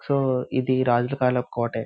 So ఇది రాజుల కాలపు కోటే.